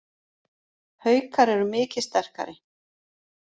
Haukar eru mikið sterkari